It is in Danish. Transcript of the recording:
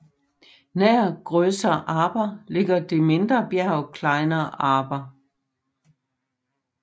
Nær Großer Arber ligger det mindre bjerg Kleiner Arber